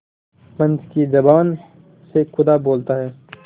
पंच की जबान से खुदा बोलता है